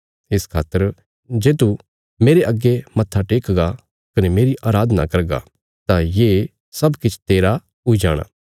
इस खातर जे तू मेरे अग्गे मत्थाटेकगा कने मेरी अराधना करगा तां ये सब किछ तेरा हुई जाणा